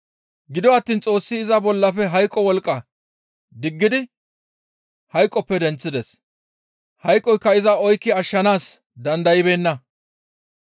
Gido attiin Xoossi iza bollafe hayqo wolqqa diggidi hayqoppe denththides; hayqoykka iza oykki ashshanaas dandaybeenna.